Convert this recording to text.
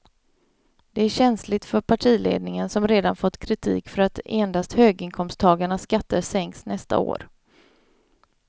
Det är känsligt för partiledningen som redan fått kritik för att endast höginkomsttagarnas skatter sänks nästa år.